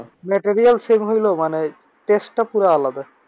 material same হইল মানে test টা পুরাই আলাদা।